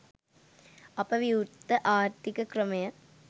අප විවෘත ආර්ථික ක්‍රමය